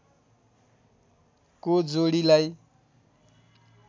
को जोडीलाई